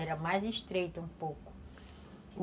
Era mais estreita um pouco.